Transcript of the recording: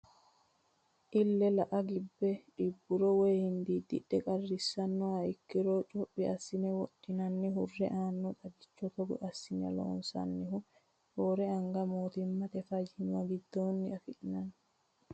Ile la"a gibbe xibburo woyi hindididhe qarrisanoha ikkiro cophi assine wodhinenna hurre aano xaggicho togo assineti loonsannihu roore anga mootimmate fayyima giddoni affi'nanni.